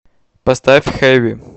поставь хэви